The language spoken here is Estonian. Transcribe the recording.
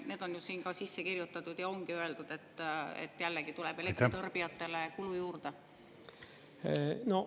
Need on sinna sisse kirjutatud ja ongi öeldud, et jällegi tuleb elektritarbijatele kulu juurde.